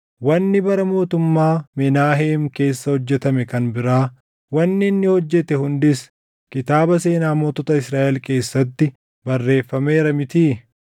Wanni bara mootummaa Menaaheem keessa hojjetame kan biraa, wanni inni hojjete hundis kitaaba seenaa mootota Israaʼel keessatti barreeffameera mitii?